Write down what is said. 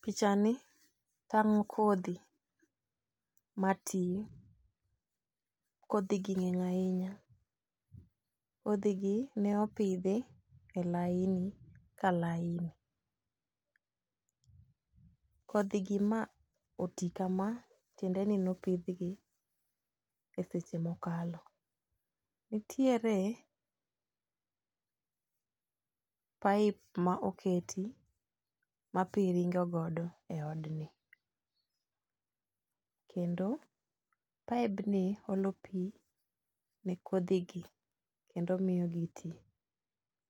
Picha ni tang'o kodhi mati ,kodhigi ng'eny ahinya. kodhigi ne opidhi e laini ka laini. Kodhigi ma oti kama, tiende ni nopidhgi e seche mokalo. Nitiere pipe ma oketi ma pi ringo godo e odni, kendo pipe ni olo pi ne kodhigi kendo miyo gi ti.